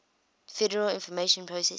federal information processing